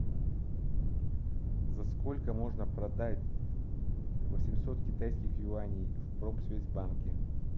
за сколько можно продать восемьсот китайских юаней в промсвязьбанке